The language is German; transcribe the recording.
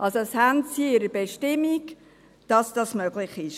Sie haben es also in ihrer Bestimmung, dass das möglich ist.